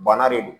Bana de don